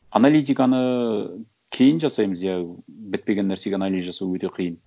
аналитиканы кейін жасаймыз иә бітпеген нәрсеге анализ жасау өте қиын